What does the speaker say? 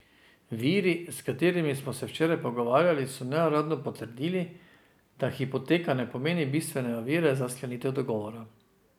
Viri, s katerimi smo se včeraj pogovarjali, so neuradno potrdili, da hipoteka ne pomeni bistvene ovire za sklenitev dogovora.